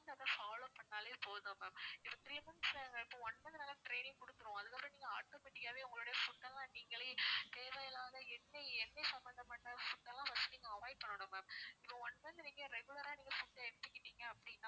follow பண்ணாலே போதும் ma'am இப்போ நாங்க three months இப்போ one monthtraining கொடுத்துடருவோம் அதுக்கு அப்பறம் நீங்க automatic காவே உங்களோட food லாம் நீங்களே தேவையில்லாத எண்ணெய் எண்ணெய் சம்மந்த பட்ட food லாம் first நீங்க avoid பண்ணணும் ma'am இப்போ one month நீங்க regular ஆ நீங்க food எடுத்துகிட்டீங்க அப்படின்னா